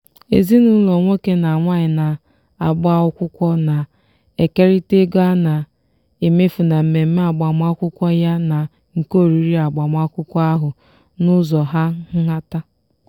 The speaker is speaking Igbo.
ezinụlọ nwoke na nwaanyị na-agba akwụkwọ na-ekerịta ego a na-emefu na mmemme agbamakwụkwọ yana nke oriri agbamakwụkwọ ahụ n'ụzọ hà nhata.